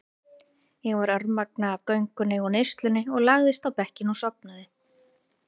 Ég var örmagna af göngunni og neyslunni og lagðist á bekkinn og sofnaði.